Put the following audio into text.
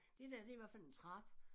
Det der det i hvert fald en trappe